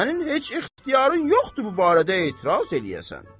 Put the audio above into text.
Sənin heç ixtiyarın yoxdur bu barədə etiraz eləyəsən.